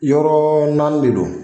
Yɔrɔ naani de don